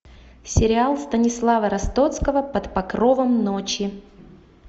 сериал станислава ростоцкого под покровом ночи